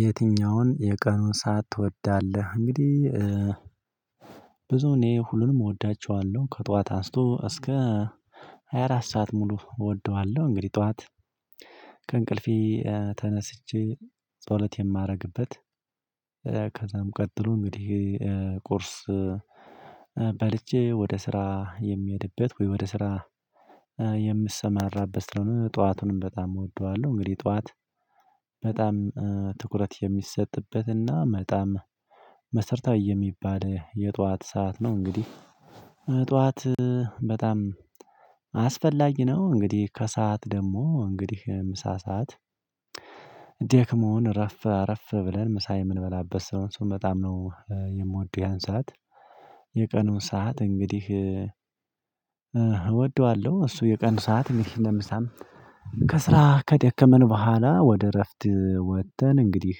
የትኛውን የቀኑን ሰዓት ትወዳለህ? እንግዲህ ብዙ እኔ ሁሉንም እወዳቸዋለሁ። ከጠዋት አንስቶ እስከ ሃያ አራት ሰዓት ሙሉ እወደዋለሁ። እንግዲህ ጠዋት ከእንቅልፌ ተነስቼ ጸሎት የማደርግበት ከዛም ቀጥሎ እንግዲህ ቁርስ በልቼ ወደ ስራ የምሄድበት ወይ ወደ ስራ የምሰማራበት ስለሆነ ጠዋቱንም በጣም እወደዋለሁ። እንግዲህ ጠዋት በጣም ትኩረት የሚሰጥበትና በጣም መሰረታዊ የሚባል የጠዋት ሰዓት ነው እንግዲህ ጠዋት በጣም አስፈላጊ ነው። እንግዲህ ከሰአት ደግሞ እንግዲህ ምሳ ሰዓት ሰዓት ደክሞን አረፍ አረፍ ብለን ምሳ የምንበላበት ስለሆነ እሱን በጣም ነው የምወደው ያን ሰዓት። የቀኑን ሰዓት እንግዲህ እወደዋለሁ። እሱ የቀኑን ሰዓት እንዲህ ለምሳም ከስራ ከደከመን በኋላ ወደ እረፍት ወጥተን እንግዲህ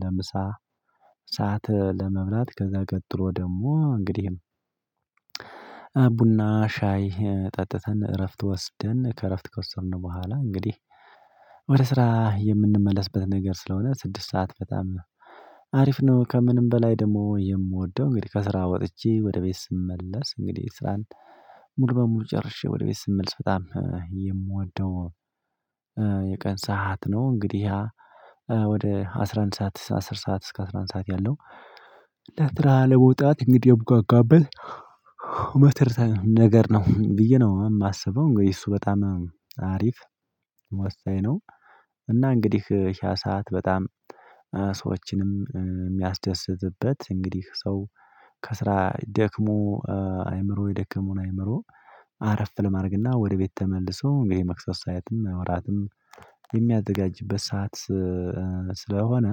ለምሳ ሰዓት ለመብላት ከዛ ቀጥሎ ደግሞ እንግዲህም ሻይ ጠጥተን እረፍት ወስደን ከእረፍት ከወሰድን በኋላ እንግዲህ ወደ ስራ የምንመለስበት ነገር ስለሆነ ስድስት ሰዓት በጣም ነው አሪፍ ነው። ከምንም በላይ ደግሞ የምወደው እንግዲህ ከስራ ወጥቼ ወደ ቤት ስመለስ እንግዲህ ስራን ሙሉ በሙሉ ጨርሼ ወደ ቤት ስመልስ በጣም የምወደው የቀን ሰዓት ነው። እንግዲህ ያ ወደ አስራ አንድ ሰዓት አስር ሰዓት እስከ አስራ አንድ ሰዓት ያለው ከስራ ለመውጣት እንግዲህ ያብቃቃበት መሰረታዊ ነገር ነው ብዬ ነው የማስበው። እንግዲህ እሱ በጣም አሪፍ ወሳኝ ነው። እና እንግዲህ ያ ሰዓት በጣም ሰዎችንም የሚያስደስትበት እንግዲህ ሰው ከስራ ደክሞ አይምሮ የደከመውን አይምሮ አረፍ ለማድረግና ወደ ቤት ተመልሶ እንግዲህ መክሰስ ሰዓትም እራትም የሚያዘጋጅበት ሰዓት ስለሆነ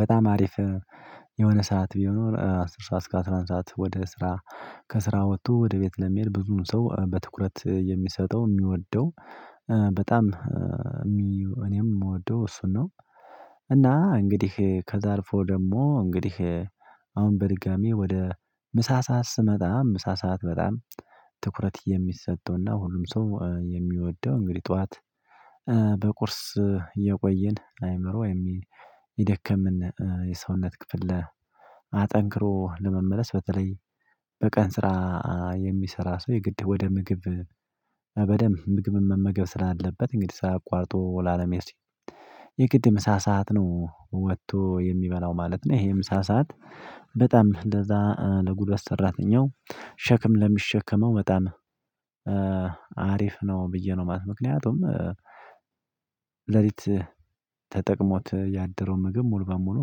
በጣም አሪፍ የሆነ ሰዓት ቢኖር አስር ሰዓት እስከ አስራ አንድ ሰዓት ወደ ስራ ከስራ ወጥቶ ወደ ቤት ለመሄድ ብዙውን ሰው በትኩረት የሚሰጠው የሚወደው በጣም እኔም የምወደው እሱን ነው። እና እንግዲህ ከዛ አልፎ ደግሞ እንግዲህ አሁን በድጋሚ ወደ ምሳ ሰዓት ስመጣ ምሳ ሰዓት በጣም ትኩረት የሚሰጠውና ሁሉም ሰው የሚወደው እንግዲህ ጠዋት በቁርስ የቆየን አይምሮ ወይም የደከመን የሰውነት ክፍል አጠንክሮ ለመመለስ በተለይ በቀን ስራ የሚሰራ ሰው የግድ ወደ ምግብ በደንብ ምግብን መመገብ ስላለበት እንግዲህ ስራ አቋርጦ ላለመሄድ ሲል የግድ ምሳ ሰዓት ነው ወጥቶ የሚበላው ማለት ነው። ይሄ ምሳ ሰዓት በጣም ለዛ ለጉልበት ሰራተኛው ሸክም ለሚሸከመው በጣም አሪፍ ነው ብዬ ነው ማለት ነው። ምክንያቱም ሌሊት ተጠቅሞት ያደረው ምግብ ሙሉ በሙሉ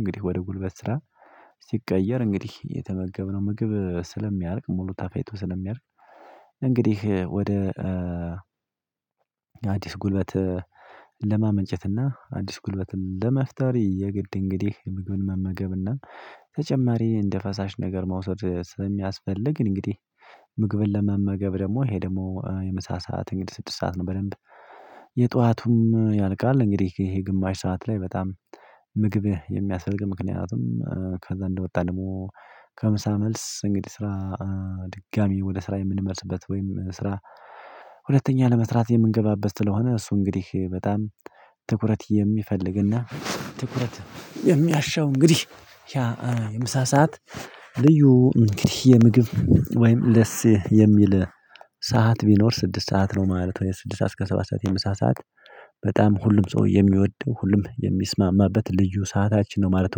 እንግዲህ ወደ ጉልበት ስራ ሲቀየር እንግዲህ የተመገብነው ምግብ ስለሚያልቅ ሙሉ ተፈጭቶ ስለሚያልቅ እንግዲህ ወደ አዲስ ጉልበት ለማመንጨት እና አዲስ ጉልበትም ለመፍጠር የግድ እንግዲህ ምግብን መመገብና ተጨማሪ እንደ ፈሳሽ ነገር መውሰድ ስለሚያስፈልግ እንግዲህ ምግብን ለመመገብ ደግሞ ይሄ ደግሞ የምሳ ሰዓት እንግዲህ ስድስት ሰዓት ነው በደንብ የጠዋቱም ያልቃል እንግዲህ ይሄ ግማሽ ሰዓት ላይ በጣም ምግብ የሚያስፈልገን ምክንያቱም ከዛ እንደወጣ ደግሞ ከምሳ መልስ እንግዲህ ስራ ድጋሚ ወደ ስራ የምንመለስበት ወይም ስራ ሁለተኛ ለመስራት የምንገባበት ስለሆነ እሱ እንግዲህ በጣም ትኩረት የሚፈልግና ትኩረት የሚያሻው እንግዲህ ያ የምሳ ሰዓት ልዩ እንግዲህ የምግብ ወይም ለስ የሚል ሰዓት ቢኖር ስድስት ሰዓት ነው ማለት ነው ስድስት ሰዓት እስከ ሰባት ሰዓት የምሳ ሰዓት በጣም ሁሉም ሰው የሚወደው ሁሉም የሚስማማበት ልዩ ሰዓታችን ነው ማለት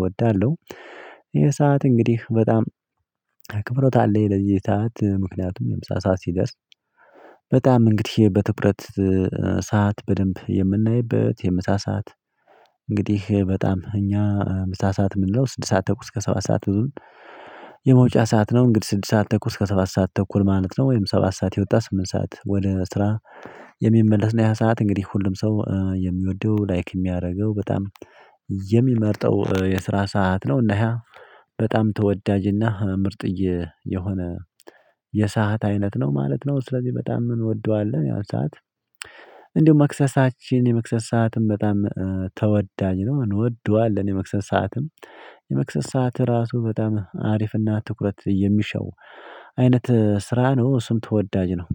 እወዳለሁ። የሰዓት እንግዲህ በጣም አክብሮት አለኝ ለዚህ ሰዓት ምክንያቱም የምሳ ሰዓት ሲደርስ በጣም እንግዲህ በትኩረት ሰዓት በደንብ የምናይበት የምሳ ሰዓት እንግዲህ በጣም እኛ ምሳ ሰዓት የምንለው ስድስት ሰዓት ተኩል እስከ ሰባት ሰዓት የመውጫ ሰዓት ነው እንግዲህ ስድስት ሰዓት ተኩስ ከሰባት ሰዓት ተኩል ማለት ነው ወይም ሰባት ሰዓት የወጣ ስምንት ሰዓት ወደ ስራ የሚመለስ ነው ያ ሰዓት እንግዲህ ሁሉም ሰው የሚወደው ላይክ የሚያደርገው በጣም የሚመርጠው የስራ ሰዓት ነው እና ይሄ በጣም ተወዳጅና ምርጥ የሆነ የሰዓት አይነት ነው ማለት ነው ስለዚህ በጣም እንወደዋለን ያን ሰዓት። እንደውም መክሰሳችን የመክሰስ ሰዓትም በጣም ተወዳጅ ነው። እንወደዋለን የመክሰስ ሰዓትም። የመክሰስ ሰዓት ራሱ በጣም አሪፍና ትኩረት የሚሻው አይነት ስራ ነው እሱም ተወዳጅ ነው።